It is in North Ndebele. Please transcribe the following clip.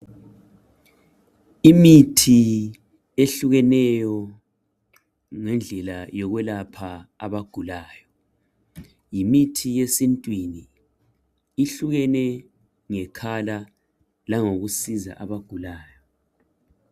Imithi ehlukeneyo ngendlela yokwelapha abagulayo. Yimithi yesintwini ihlukene ngekhala langokusiza abagulayo.